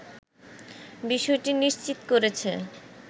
বিষয়টি নিশ্চিত করেছে